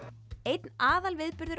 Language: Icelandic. einn